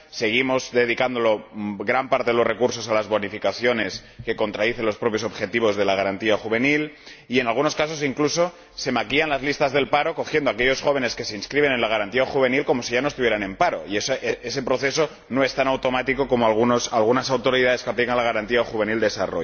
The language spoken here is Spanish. Seguimos dedicando gran parte de los recursos a las bonificaciones, lo que contradice los propios objetivos de la Garantía Juvenil y, en algunos casos, incluso se maquillan las listas del paro, contabilizando a aquellos jóvenes que se inscriben en la Garantía Juvenil como si ya no estuvieran en paro, y ese proceso no es tan automático como algunas autoridades que aplican la Garantía Juvenil pretenden.